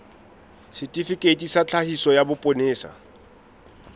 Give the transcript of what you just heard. setifikeiti sa tlhakiso sa sepolesa